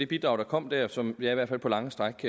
bidrag der kom der som jeg i hvert fald på lange stræk